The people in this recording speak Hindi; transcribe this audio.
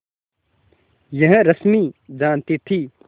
यह रश्मि जानती थी